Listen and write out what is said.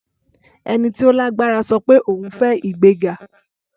Ẹni tí ó lágbára sọ pé òun fẹ́ ìgbéga